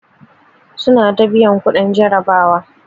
Suna ta biyan kuɗin jarabawa.